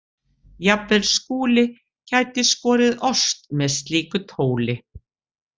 Jafnvel Skúli gæti skorið ost með slíku tóli.